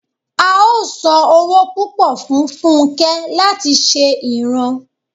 a ó san owó púpọ̀ fun fúnke láti ṣe ìran